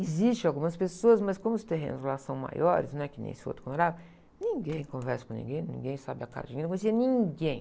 Existem algumas pessoas, mas como os terrenos lá são maiores, não é que nem esse outro em que eu morava, ninguém conversa com ninguém, ninguém sabe a cara de ninguém, não conhecia ninguém.